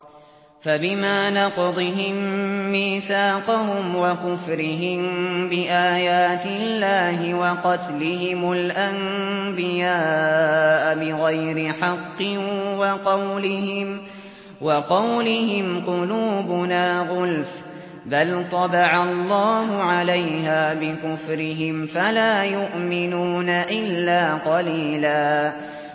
فَبِمَا نَقْضِهِم مِّيثَاقَهُمْ وَكُفْرِهِم بِآيَاتِ اللَّهِ وَقَتْلِهِمُ الْأَنبِيَاءَ بِغَيْرِ حَقٍّ وَقَوْلِهِمْ قُلُوبُنَا غُلْفٌ ۚ بَلْ طَبَعَ اللَّهُ عَلَيْهَا بِكُفْرِهِمْ فَلَا يُؤْمِنُونَ إِلَّا قَلِيلًا